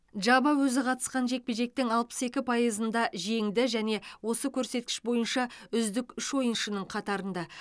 джаба өзі қатысқан жекпе жектің алпыс екі пайызында жеңді және осы көрсеткіш бойынша үздік үш ойыншының қатарында